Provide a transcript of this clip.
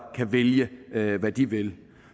kan vælge hvad de vil